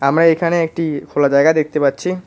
আমরা এখানে একটি খোলা জায়গা দেখতে পাচ্ছি।